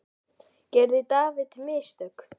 Gerði David mistök?